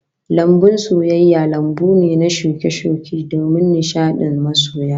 Lambun soyayya lambu ne da shuke-shuke domin nishadin masoya